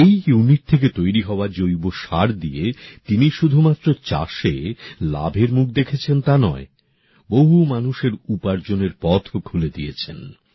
এই ইউনিট থেকে তৈরী হওয়া জৈব সার দিয়ে তিনি শুধুমাত্র চাষে লাভের মুখ দেখেছেন তা নয় বহু মানুষের উপার্জনের পথও খুলে দিয়েছে